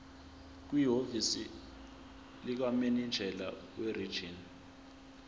kwihhovisi likamininjela werijini